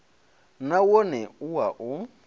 na wone u wa u